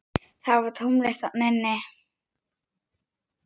Það var tómlegt þarna inni.